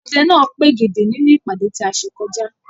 Ọdẹ náà pègèdè nínú ìpàdé tí a ṣe kọjá.